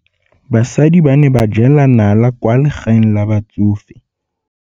Basadi ba ne ba jela nala kwaa legaeng la batsofe.